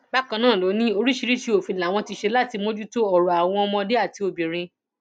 bákan náà ló ní oríṣiríṣiì òfin làwọn ti ṣe láti mójútó ọrọ àwọn ọmọdé àti obìnrin